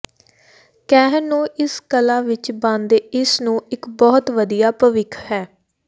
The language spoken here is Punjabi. ਕਹਿਣ ਨੂੰ ਇਸ ਕਲਾ ਵਿਚ ਬਣਦੇ ਇਸ ਨੂੰ ਇੱਕ ਬਹੁਤ ਵਧੀਆ ਭਵਿੱਖ ਹੈ